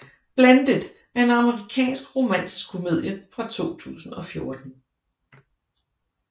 Blended er en amerikansk romantisk komedie fra 2014